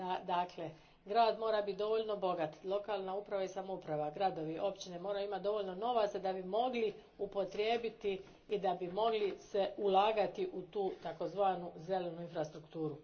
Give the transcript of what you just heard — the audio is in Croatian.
Dakle, grad mora biti dovoljno bogat, lokalna uprava i samouprava, gradovi, općine moraju imati dovoljno novaca da bi mogli upotrijebiti i da bi se moglo ulagati u tu takozvanu zelenu infrastrukturu.